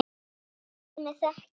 Látið mig þekkja hann